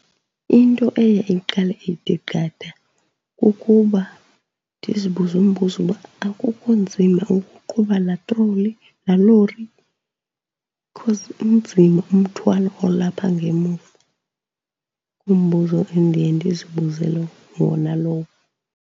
Into eye iqale ithi qatha kukuba ndizibuze umbuzo uba akukho nzima ukuqhuba laa troli, laa lori, because unzima umthwalo olapha ngemuva. Ngumbuzo endiye ndizibuze wona lowo.